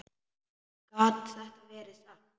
Gat þetta verið satt?